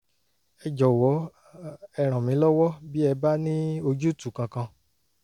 ẹ jọ̀wọ́ ẹ ràn mí lọ́wọ́ bí ẹ bá ní ojútùú kankan